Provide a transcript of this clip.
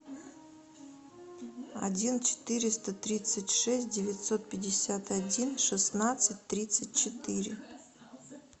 один четыреста тридцать шесть девятьсот пятьдесят один шестнадцать тридцать четыре